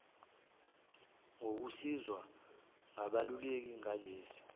ngokusizwa ngabeluleki ngalesi